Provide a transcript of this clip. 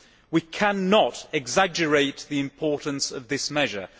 We cannot exaggerate the importance of this measure.